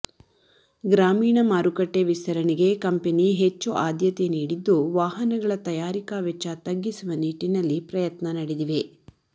ಗ್ರಾಮೀಣ ಮಾರುಕಟ್ಟೆ ವಿಸ್ತರಣೆಗೆ ಕಂಪೆನಿ ಹೆಚ್ಚು ಆದ್ಯತೆ ನೀಡಿದ್ದು ವಾಹನಗಳ ತಯಾರಿಕಾ ವೆಚ್ಚ ತಗ್ಗಿಸುವ ನಿಟ್ಟಿನಲ್ಲಿ ಪ್ರಯತ್ನ ನಡೆದಿವೆ